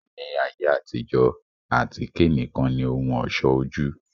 Ni ayé àtijọ́, àtíké nìkan ni ohùn ọ̀ṣọ́ ojú